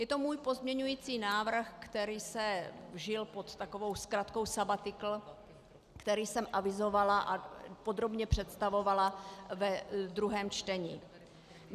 Je to můj pozměňovací návrh, který se vžil pod takovou zkratkou "sabatikl", který jsem avizovala a podrobně představovala ve druhém čtení.